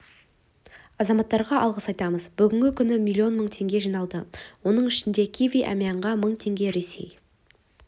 азаматтарға алғыс айтамыз бүгінгі күні миллион мың теңге жиналды оның ішінде киви-әмиянға мың теңге ресей